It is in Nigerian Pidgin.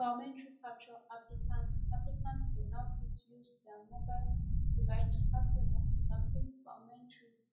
biometric capture applicants applicants go now fit use dia mobile device to capture dia fingerprint biometrics